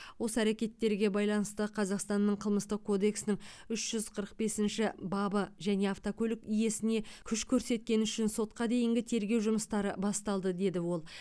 осы әрекеттерге байланысты қазақстанның қылмыстық кодексінің үш жүз қырық бесінші бабы және автокөлік иесіне күш көрсеткені үшін сотқа дейінгі тергеу жұмыстары басталды деді ол